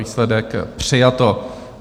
Výsledek: přijato.